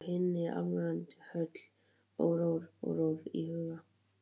Úlfar kvittaði fyrir og gekk út úr hinni alræmdu höll órór í huga.